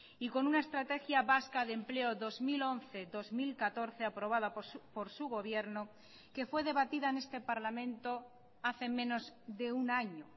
y con una estrategia vasca de empleo dos mil once dos mil catorce aprobada por su gobierno que fue debatida en este parlamento hace menos de un año